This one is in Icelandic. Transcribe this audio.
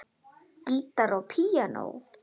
Gítar og píanó.